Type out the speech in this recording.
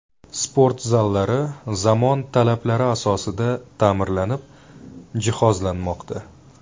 Sport zallari zamon talablari asosida ta’mirlanib, jihozlanmoqda.